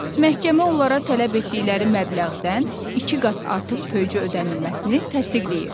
Məhkəmə onlara tələb etdikləri məbləğdən iki qat artıq töycə ödənilməsini təsdiqləyir.